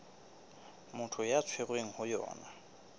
motho a tshwerweng ho yona